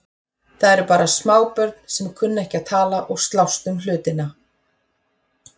Það eru bara smábörn sem kunna ekki að tala og slást um hlutina.